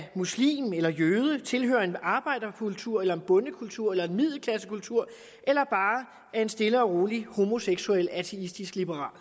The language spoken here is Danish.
muslim eller jøde tilhører en arbejderkultur en bondekultur eller en middelklassekultur eller bare er en stille og rolig homoseksuel ateistisk liberal